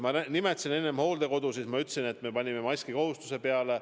Ma nimetasin enne hooldekodusid, ma ütlesin, et me panime maskikohustuse peale.